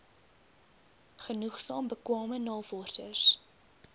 genoegsaam bekwame navorsers